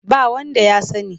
Ba wanda ya sani.